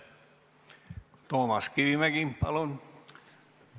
Toomas Kivimägi, palun!